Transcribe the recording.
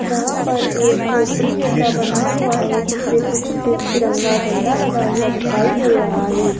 जहां पर एक झोपड़ी जैसा बना हुआ है जिसपे कुछ तिरंगा झंडा लगा हुआ दिखाई दे रहा है।